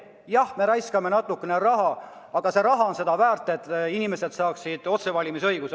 Jah, me kulutame natukene raha, aga asi on seda väärt, et inimesed saaksid otsevalimise õiguse.